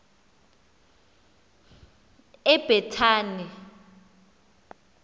ebhetani